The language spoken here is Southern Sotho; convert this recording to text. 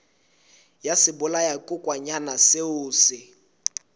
ya sebolayakokwanyana seo o se